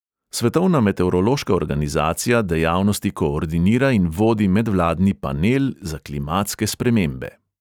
Svetovna meteorološka organizacija dejavnosti koordinira in vodi medvladni panel za klimatske spremembe.